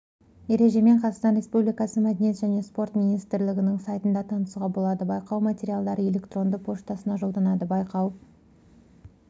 ережемен қазақстан республикасы мәдениет және спорт министрлігінің сайтында танысуға болады байқау материалдары электронды поштасына жолданады байқау